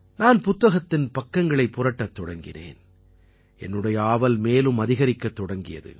நான் புத்தகத்தின் பக்கங்களைப் புரட்டத் தொடங்கினேன் என்னுடைய ஆவல் மேலும் அதிகரிக்கத் தொடங்கியது